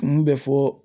Kun bɛ fɔ